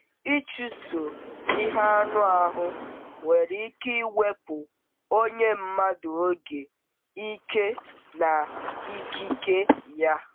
Ịchụso ihe anụ ahụ nwere ike iwepụ onye mmadụ oge, ike, na ikike ya.